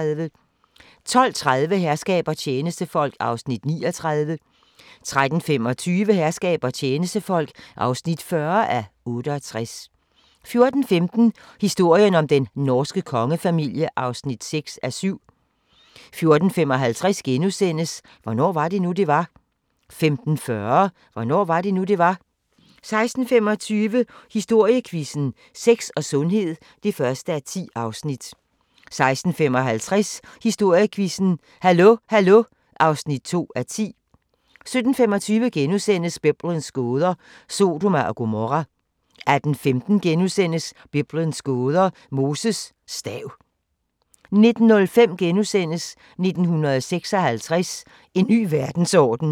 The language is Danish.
12:30: Herskab og tjenestefolk (39:68) 13:25: Herskab og tjenestefolk (40:68) 14:15: Historien om den norske kongefamilie (6:7) 14:55: Hvornår var det nu, det var? * 15:40: Hvornår var det nu, det var? 16:25: Historiequizzen: Sex og sundhed (1:10) 16:55: Historiequizzen: Hallo Hallo (2:10) 17:25: Biblens gåder – Sodoma og Gomorra * 18:15: Biblens gåder – Moses stav * 19:05: 1956 – En ny verdensorden *